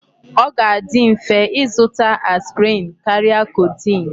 Ọ ga-adi mfe ịzụta aspirin karịa codeine.